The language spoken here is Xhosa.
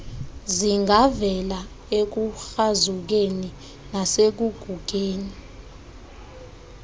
zingavela ekukrazukeni nasekugugeni